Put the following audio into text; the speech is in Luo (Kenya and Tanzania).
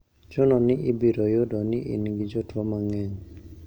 Chuno ni ibiro yudo ni in gi jotuo mang`eny.